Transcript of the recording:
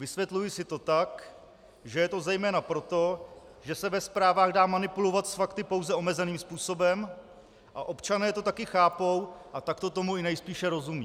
Vysvětluji si to tak, že je to zejména proto, že se ve zprávách dá manipulovat s fakty pouze omezeným způsobem a občané to taky chápou a takto tomu i nejspíše rozumí.